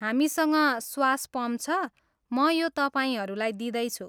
हामीसँग स्वास पम्प छ, म यो तपाईँहरूलाई दिँदैछु।